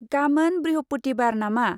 गामोन बृहपुथिबार नामा?